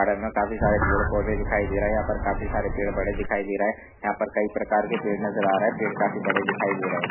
Garden मे काफी सारे पेड़ पौधे दिखाई दे रहे है यहां पर काफी सारे पेड़ बड़े दिखाई दे रहा है यहा पर कई प्रकार के पेड़ नज़र आ रहे है पेड़ काफी बड़े दिखाई दे रहा है।